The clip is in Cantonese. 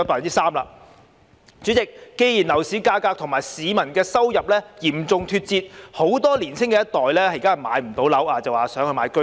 代理主席，既然樓市價格與市民的收入嚴重脫節，很多年青一代買不到樓便想購買居屋。